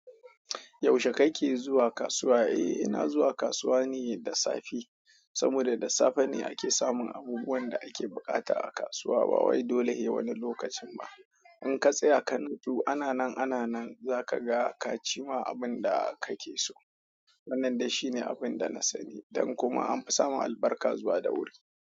Yaushe kake zuwa kasuwa? Eh ina zuwa kasuwa ne da safe. Saboda da safe ne ake samun abubuwan da ake buƙata a kasuwa ba wai dole sai wani lokacin ba. In ka tsaya ka nutsu ana nan, ana nan za ka ga ka ci ma abin da kake so. Wannan dai shine abin da na sani. Don kuma an fi samun albarka zuwa da wuri.